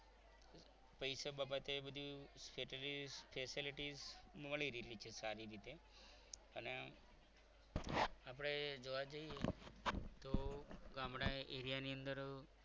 પૈસા બાબતે બધું મળી રહેલી છે સારી રીતે અને આપણે જોવા જઈએ તો ગામડા એરીયા ની અંદર